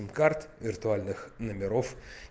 карт виртуальных номеров